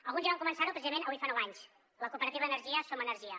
alguns ja van començar ho precisament avui fa nou anys la cooperativa d’energia som energia